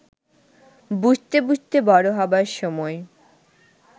বুঝতে বুঝতে বড় হবার সময়